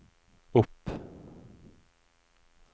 opp